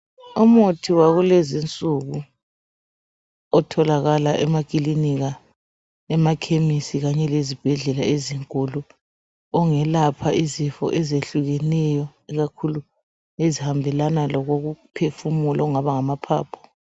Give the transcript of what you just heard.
Umuthi wakulezinsuku otholakala emakilinika, emakhemisi kanye lezibhedlela ezinkulu ongelapha izifo ezehlukeneyo ikakhulu ezihambelana lokokuphefumula okungaba ngamaphaphu.